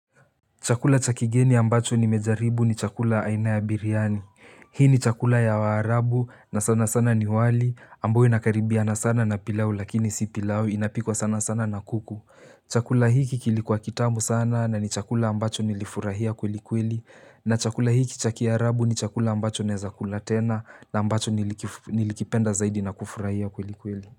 Chakula cha kigeni ambacho nimejaribu ni chakula aina ya biryani. Hii ni chakula ya waarabu na sana sana ni wali, ambayo inakaribiana sana na pilau lakini si pilau inapikwa sana sana na kuku. Chakula hiki kilikuwa kitamu sana na ni chakula ambacho nilifurahia kweli kweli. Na chakula hiki cha kiarabu ni chakula ambacho naeza kula tena na ambacho niliki nilikipenda zaidi na kufurahia kweli kweli.